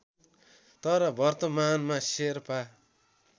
तर वर्तमानमा शेर्पा